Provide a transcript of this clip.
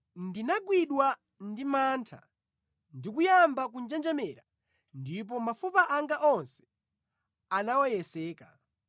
ndinagwidwa ndi mantha, ndi kuyamba kunjenjemera ndipo mafupa anga onse anaweyeseka.